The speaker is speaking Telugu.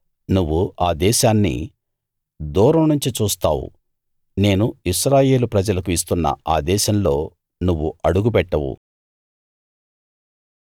నువ్వు ఆ దేశాన్ని దూరం నుంచి చూస్తావు నేను ఇశ్రాయేలు ప్రజలకు ఇస్తున్న ఆ దేశంలో నువ్వు అడుగుపెట్టవు